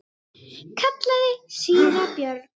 kallaði síra Björn.